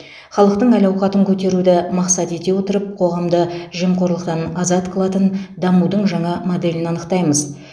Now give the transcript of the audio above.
халықтың әл ауқатын көтеруді мақсат ете отырып қоғамды жемқорлықтан азат қылатын дамудың жаңа моделін анықтаймыз